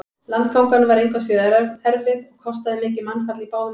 Landgangan var engu að síður erfið og kostaði mikið mannfall í báðum liðum.